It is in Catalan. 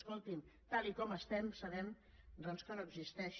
escolti’m tal com estem sabem que no existeix